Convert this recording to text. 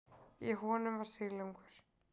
Í honum var silungur.